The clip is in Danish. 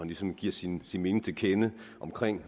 ligesom giver sin mening til kende